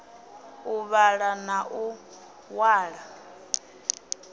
u vhala na u ṅwala